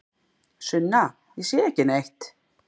Sunna: Ég sé ekki neitt.